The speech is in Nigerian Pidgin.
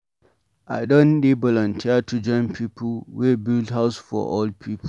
I don dey volunteer to join pipu wey dey build house for old pipu.